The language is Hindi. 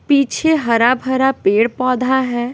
पीछे हरा भरा पेड़-पौधा है।